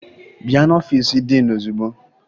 Bịa n'ọfiisi diin ozugbo!